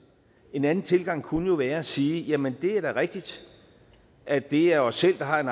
en anden tilgang kunne jo være at sige jamen det er da rigtigt at det er os selv der har en